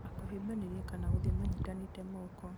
ona kũhĩmbanĩria kana gũthiĩ manyitanĩte moko